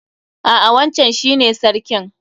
A'a wancan shi ne sarkin.